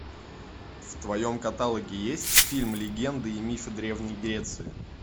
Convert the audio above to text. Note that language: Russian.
в твоем каталоге есть фильм легенды и мифы древней греции